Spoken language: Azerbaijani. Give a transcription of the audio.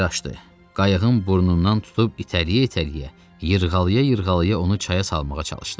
Qayığın burnundan tutub itələyə-itələyə, yıxğalaya-yıxğalaya onu çaya salmağa çalışdı.